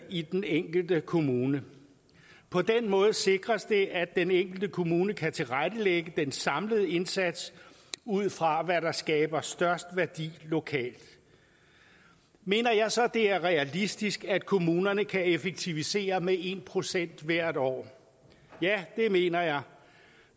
i den enkelte kommune på den måde sikres det at den enkelte kommune kan tilrettelægge den samlede indsats ud fra hvad der skaber størst værdi lokalt mener jeg så at det er realistisk at kommunerne kan effektivisere med en procent hvert år ja det mener jeg